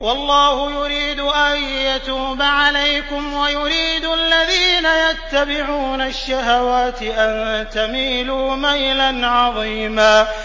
وَاللَّهُ يُرِيدُ أَن يَتُوبَ عَلَيْكُمْ وَيُرِيدُ الَّذِينَ يَتَّبِعُونَ الشَّهَوَاتِ أَن تَمِيلُوا مَيْلًا عَظِيمًا